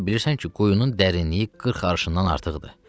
Özün də bilirsən ki, quyunun dərinliyi 40 arşından artıqdır.